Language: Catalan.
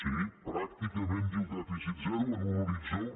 sí pràcticament diu dèficit zero en un horitzó